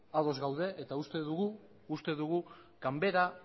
ados gaude eta uste dugu ganbara